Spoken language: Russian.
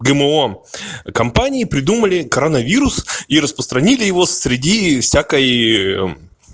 гмо компании придумали коронавирус и распространили его среди всякой